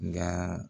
Nga